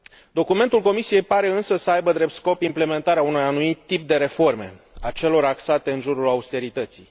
Documentul Comisiei pare însă să aibă drept scop implementarea unui anumit tip de reforme a celor axate în jurul austerității.